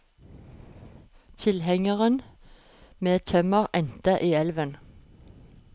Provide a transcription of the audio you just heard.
Tilhengeren med tømmer endte i elven.